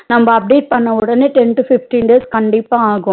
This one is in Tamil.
நம்ம update பண்ணவுடன ten to fifteen days கண்டிப்பாஆகும்